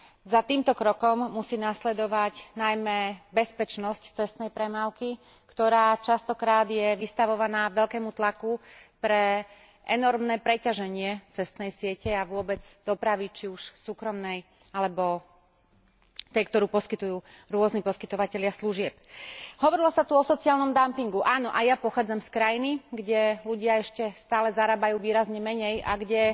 Za týmto krokom musí nasledovať najmä bezpečnosť cestnej premávky, ktorá je častokrát vystavovaná veľkému tlaku pre enormné preťaženie cestnej siete a vôbec dopravy, či už súkromnej alebo tej, ktorú poskytujú rôzni poskytovatelia služieb. Hovorilo sa tu o sociálnom dumpingu. Áno, aj ja pochádzam z krajiny, kde ľudia ešte stále zarábajú výrazne menej a kde